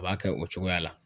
O b'a kɛ o cogoya la.